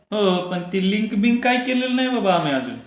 हो पण ते लिंक बिंक काय केलेलं नाय बाबा आम्ही अजून.